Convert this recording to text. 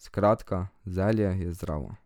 Skratka, zelje je zdravo.